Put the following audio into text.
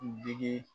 Digi